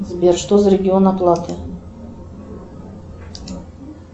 сбер что за регион оплаты